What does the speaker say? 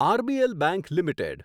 RBL bank limited